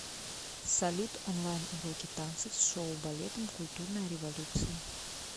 салют онлайн уроки танцев с шоу балетом культурная революция